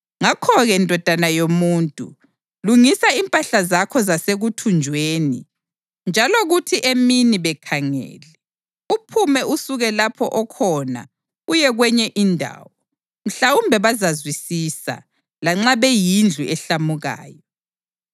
Ngakho-ke ndodana yomuntu, lungisa impahla zakho zasekuthunjweni njalo kuthi emini, bekhangele, uphume usuke lapho okhona uye kwenye indawo. Mhlawumbe bazazwisisa, lanxa beyindlu ehlamukayo.